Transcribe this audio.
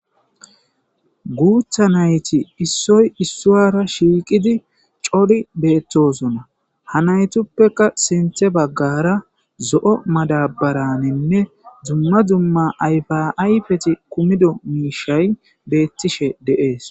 Guutha nayti issoy issuwara shiiqidi cori beettosona hanaytuppeka sinthe baggara zo7o madabaraninne zumma zumma ayfaayfeti kumido miishay beettishe deees